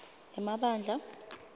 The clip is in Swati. emabandla